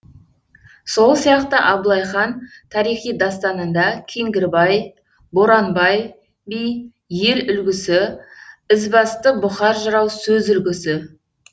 сол сияқты абылай хан тарихи дастанында кеңгірбай боранбай би ел үлгісі ізбасты бұқар жырау сөз үлгісі